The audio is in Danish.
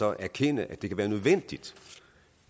erkende at det kan være nødvendigt